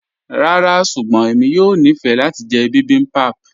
Ràrá ṣùgbọ́n ẹ̀mi yóò ní fẹ́ lati jẹ̀ bibimbap